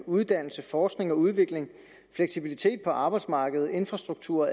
uddannelse forskning og udvikling fleksibilitet på arbejdsmarkedet infrastruktur og